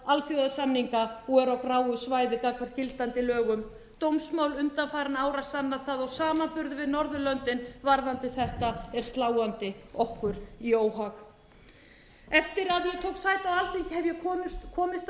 gráu svæði gagnvart gildandi lögum dómsmál undanfarinna ára sanna það og samanburður við norðurlöndin varðandi þetta er sláandi okkur í óhag eftir að ég tók sæti á alþingi hef ég komist að raun um að